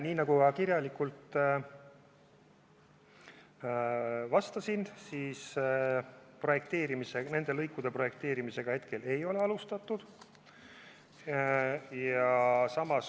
Nii nagu ma kirjalikult vastasin, ei ole nende lõikude projekteerimist hetkel veel alustatud.